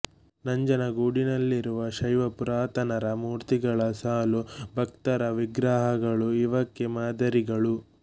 ನಂಜನಗೂಡಿನಲ್ಲಿರುವ ಶೈವಪುರಾತನರ ಮೂರ್ತಿಗಳ ಸಾಲು ಭಕ್ತರ ವಿಗ್ರಹಗಳು ಇವಕ್ಕೆ ಮಾದರಿಗಳು